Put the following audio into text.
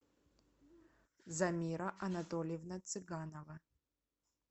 замира анатольевна цыганова